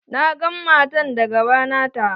Na gan matan da gaba nata.